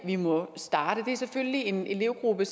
vi må starte det er selvfølgelig en elevgruppe